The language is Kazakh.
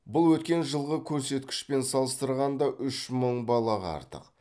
бұл өткен жылғы көрсеткішпен салыстырғанда үш мың балаға артық